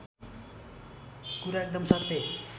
कुरा एकदम सत्य